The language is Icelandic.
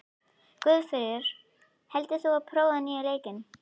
Guðfríður, hefur þú prófað nýja leikinn?